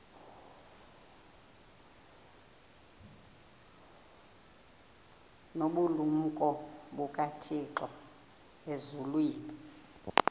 nobulumko bukathixo elizwini